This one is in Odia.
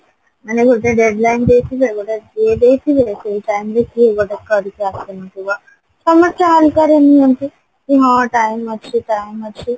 ମାନେ ଗୋଟେ dead line ଦେଇଥିବେ ଗୋଟେ ଇଏ ଦେଇଥିବେ ସେଇ time ରେ କିଏ ଗୋଟେ କରିକି ଆସିନଥିବ ସମସ୍ତେ ହାଲକାରେ ନିଅନ୍ତି କି ହଁ time ଅଛି time ଅଛି